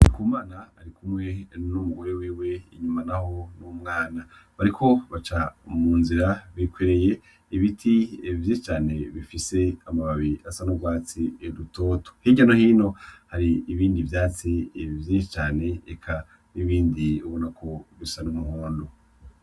Ndikumana arikumwe n'umugore wiwe, inyuma naho n'umwana, bariko baca mu nzira bikoreye ibiti vyinshi cane bifise amababi asa n'urwatsi rutoto. Hirya no hino hari ibindi vyatsi vyinshi cane eka n'ibindi ubonako bisa n'umuhondo.